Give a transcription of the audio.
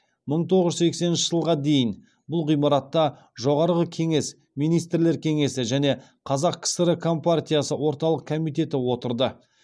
мың тоғыз жүз сексенінші жылға дейін бұл ғимаратта жоғарғы кеңес министрлер кеңесі және қазақ кср компартиясы орталық комитеті отырды